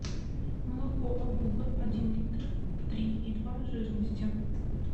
молоко обуга один литр три и два жирности